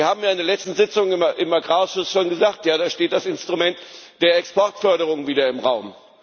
Sie haben in der letzten Sitzung im Agrarausschuss schon gesagt Ja, da steht das Instrument der Exportförderung wieder im Raum.